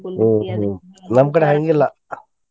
ನಮ್ಮ್ ಕಡೆ ಹಂಗಿಲ್ಲಾ.